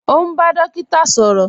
Ọ̀ n bá dòkíta sọrọ